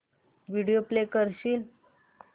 video play करशील